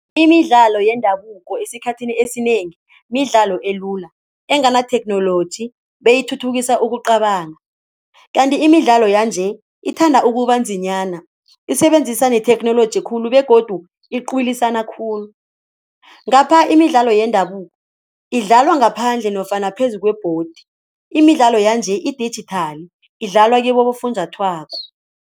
Imidlalo yendabuko esikhathini esinengi midlalo elula engenatheknoloji beyithuthukisa ukucabanga, kanti imidlalo yanje ithanda ukubanzinyana, isebenzisa netheknoloji khulu begodu iqwilisana khulu. Ngapha imidlalo yendabuko idlalwa ngaphandle nofana phezu kwebhodi, imidlalo yanje idijithali idlalwa kibofunjathwako.